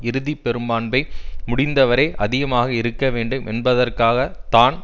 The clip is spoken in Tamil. இறுதி பெரும்பான்மை முடிந்த வரை அதிகமாக இருக்க வேண்டும் என்பதற்காக தான்